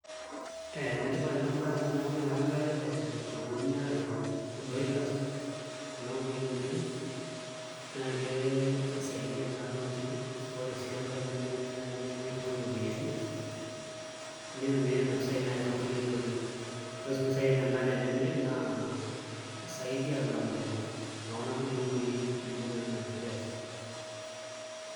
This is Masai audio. Ee enetipat enabaye amu teneeku oshi eetai ilchogooni sapukin arashu irbroilers kuna kukui oonkiri neeku ekisaidia naa toonkiri ore sii enkae naa tenemiri naai netumieki iropiyiani nitumiai nena pisaai naai toonkulie oitoi ore sii mpisaii enyenak enemiri naa saidi alang'u inekuna kulie kukuui kulie naa naji layers.